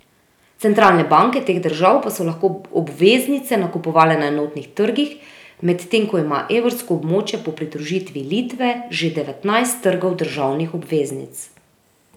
Centralne banke teh držav pa so lahko obveznice nakupovale na enotnih trgih, medtem ko ima evrsko območje po pridružitvi Litve že devetnajst trgov državnih obveznic.